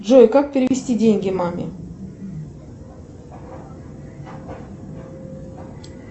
джой как перевести деньги маме